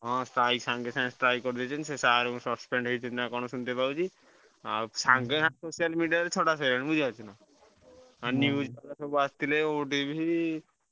ହଁ strike ସାଙ୍ଗେ ସାଙ୍ଗେ strike କରିଦେଇଛନ୍ତି ସେ sir suspend ହେଇଛନ୍ତି ନାଁ କଣ ସୁନତେ ପାଉଛି ଆଉ ସାଙ୍ଗେ ସାଙ୍ଗେ social media ରେ ଛଡା ସରିଲାଣୀ ବୁଝିପାରୁଛ ନାଁ news ଆସିଥିଲେ OTV